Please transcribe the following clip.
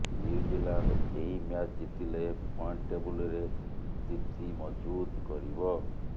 New Zealand ଏହି match ଜିତିଲେ point ଟେବୁଲ୍ରେ ସ୍ଥିତି ମଜ୍ଭୁତ କରିବ